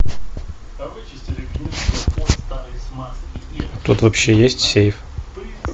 тут вообще есть сейф